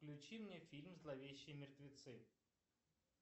включи мне фильм зловещие мертвецы